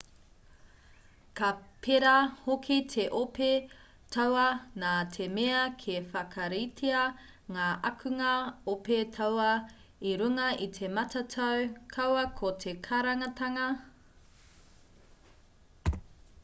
ka pērā hoki te ope tauā nā te mea ka whakaritea ngā akunga ope tauā i runga i te matatau kaua ko te karangatanga